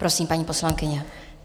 Prosím, paní poslankyně.